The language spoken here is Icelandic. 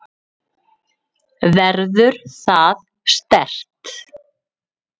Verður það sterkt?